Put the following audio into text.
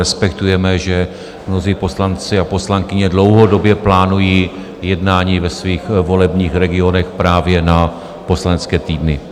Respektujeme, že mnozí poslanci a poslankyně dlouhodobě plánují jednání ve svých volebních regionech právě na poslanecké týdny.